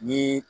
Ni